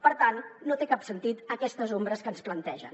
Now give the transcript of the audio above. per tant no tenen cap sentit aquestes ombres que ens plantegen